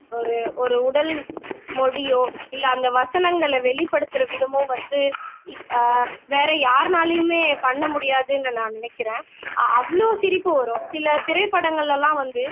ஒரு ஒரு உடல் மொழியோ இல்லை அந்த வசனங்களை வெளிப்படுத்துற விதமோ வந்து அஹ் வேற யாருனாலையுமே பண்ண முடியாதுன்னு நான் நினைக்கிறேன் அவ்ளோ சிரிப்பு வரும் சில திரைப்படங்கள்ல எல்லாம் வந்து